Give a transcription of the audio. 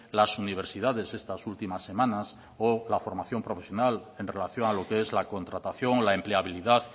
las universidades estas últimas semanas o la formación profesional en relación a lo que es la contratación o la empleabilidad